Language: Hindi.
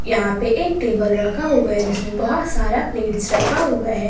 यहां पे एक टेबल रखा हुआ है जिसमें बहोत सारा प्लेट्स रखा हुआ है।